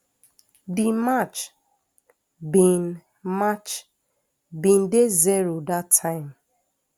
di match bin match bin dey zero dat time